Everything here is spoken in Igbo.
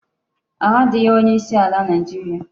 Ahu adighi onye isi ala Naijiria